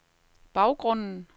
baggrunden